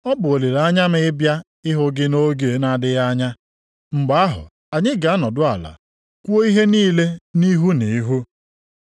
Ọ bụ olileanya m ịbịa ịhụ gị nʼoge na-adịghị anya. Mgbe ahụ anyị ga-anọdụ ala kwuo ihe niile nʼihu nʼihu.